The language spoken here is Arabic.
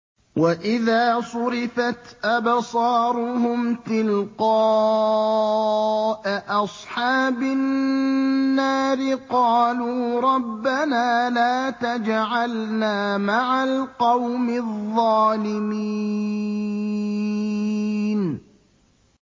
۞ وَإِذَا صُرِفَتْ أَبْصَارُهُمْ تِلْقَاءَ أَصْحَابِ النَّارِ قَالُوا رَبَّنَا لَا تَجْعَلْنَا مَعَ الْقَوْمِ الظَّالِمِينَ